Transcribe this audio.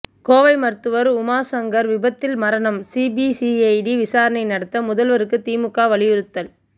கோவை மருத்துவர் உமாசங்கர் விபத்தில் மரணம் சிபிசிஐடி விசாரணை நடத்த முதல்வருக்கு திமுக வலியுறுத்தல்